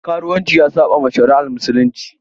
Karuwanci ya saɓawa shari'ar musulunci.